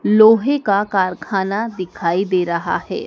लोहे का कारखाना दिखाई दे रहा है।